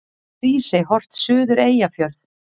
Hrísey, horft suður Eyjafjörð.